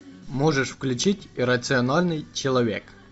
можешь включить иррациональный человек